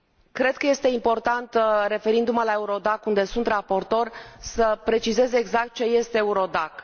Cred că este important, referindu mă la EURODAC, unde sunt raportor, să precizez exact ce este EURODAC.